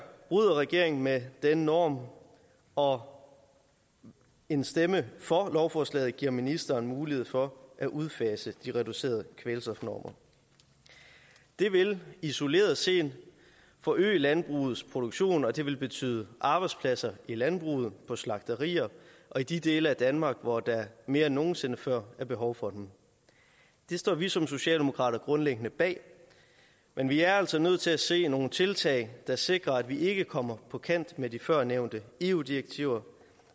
bryder regeringen med denne norm og en stemme for lovforslaget giver ministeren mulighed for at udfase de reducerede kvælstofnormer det vil isoleret set forøge landbrugets produktion og det vil betyde arbejdspladser i landbruget på slagterier og i de dele af danmark hvor der mere end nogen sinde før er behov for dem det står vi som socialdemokrater grundlæggende bag men vi er altså nødt til at se nogle tiltag der sikrer at vi ikke kommer på kant med de førnævnte eu direktiver